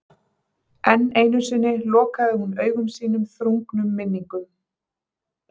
Enn einu sinni lokaði hún augum sínum þrungnum minningum.